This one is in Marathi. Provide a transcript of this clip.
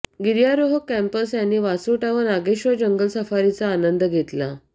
गिर्यारोहक कॅम्पर्स यांनी वासोटा व नागेश्वर जंगल सफारीचा आंनद घेतला